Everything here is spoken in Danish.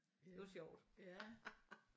Det var sjovt